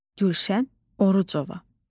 Gülşən Orucova.